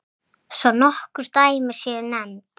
Svo nokkur dæmi séu nefnd.